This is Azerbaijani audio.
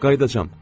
Qayıdacam.